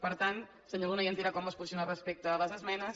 per tant senyor luna ja ens dirà com es posiciona respecte a les esmenes